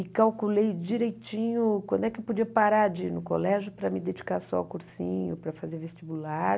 E calculei direitinho quando é que eu podia parar de ir no colégio para me dedicar só ao cursinho, para fazer vestibular.